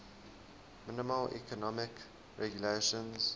minimal economic regulations